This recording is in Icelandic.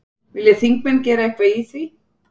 Vilja þingmenn gera eitthvað í því?